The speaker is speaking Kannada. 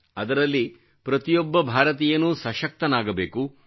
ಅದರಲ್ಲಿ ಪ್ರತಿಯೊಬ ಭಾರತೀಯನೂ ಸಶಕ್ತನಾಗಬೇಕು